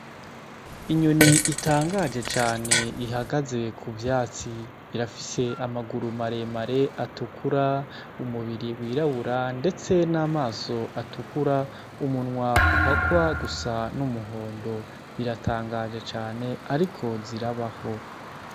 Inyoni itangaje cane ihagaze ku vyatsi. Irafise amaguru maremare atukura, umubiri wirabura, ndetse n'amaso atukura, umunwa uhakwa gusa n'umuhondo. Biratangaje cane ariko zirabaho.